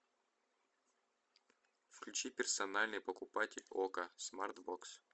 включи персональный покупатель окко смарт бокс